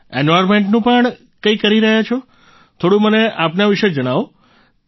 એન્વાયર્મેન્ટનું પણ કરી રહ્યા છો થોડું મને આપના વિશે જણાવો